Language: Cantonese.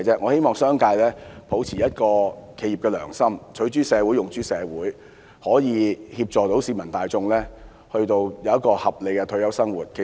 我希望商界能抱持企業的良心，取諸社會，用諸社會，協助市民大眾享有合理的退休生活。